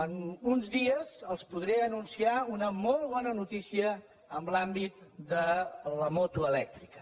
en uns dies els podré anunciar una molt bona notícia en l’àmbit de la moto elèctrica